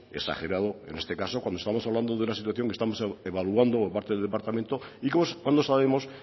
exagerado en este caso cuando estamos hablando de una situación que estamos evaluando por parte del departamento y cuando sabemos